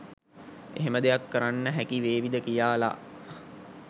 එහෙම දෙයක් කරන්න හැකිවේවිද කියාලා